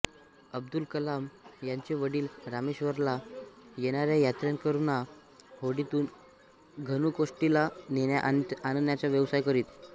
अब्दुल कलाम यांचे वडील रामेश्वरमला येणाऱ्या यात्रेकरूंना होडीतून धनुष्कोडीला नेण्याआणण्याचा व्यवसाय करीत